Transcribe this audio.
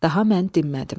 Daha mən dinmədim.